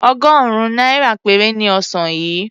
Ọgọ́rùn-ún náírà péré ni ọsàn yìí.